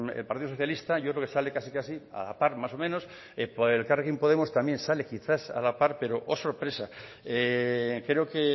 el partido socialista yo creo que sale casi casi a la par más o menos por elkarrekin podemos también sale quizás a la par pero oh sorpresa creo que